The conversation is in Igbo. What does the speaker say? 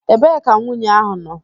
Ebee ka nwunye ahụ nọ?